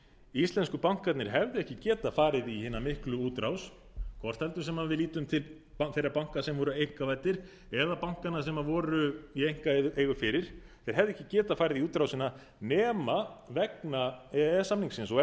íslensku bankarnir hefðu ekki getað farið í hina miklu útrás hvort heldur sem við lítum til þeirra banka sem voru einkavæddir eða bankanna sem voru í einkaeigu fyrir þeir hefðu ekki getað farið í útrásina nema vegna e e s samningsins og